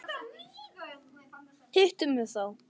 Hittu mig þá.